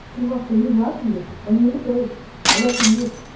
чувак ты из латвии он не литовец латвиец